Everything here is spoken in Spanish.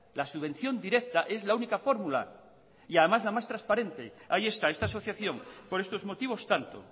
la subvención directa es la única fórmula y además la más transparente ahí está esta asociación por estos motivos tanto